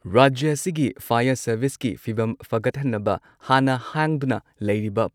ꯔꯥꯖ꯭ꯌ ꯑꯁꯤꯒꯤ ꯐꯥꯌꯔ ꯁꯔꯚꯤꯁꯀꯤ ꯐꯤꯚꯝ ꯐꯒꯠꯍꯟꯅꯕ ꯍꯥꯟꯅ ꯍꯥꯡꯗꯨꯅ ꯂꯩꯔꯤꯕ